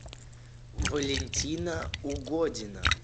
валентина угодина